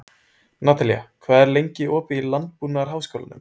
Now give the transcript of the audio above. Natalía, hvað er lengi opið í Landbúnaðarháskólanum?